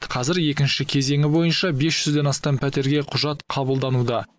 қазір екінші кезеңі бойынша бес жүзден астам пәтерге құжат қабылдануда